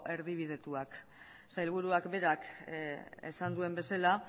erdibidetuak sailburuak berak esan duen bezala